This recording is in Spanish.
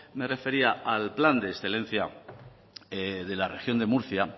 me refería al plan de excelencia de la región de murcia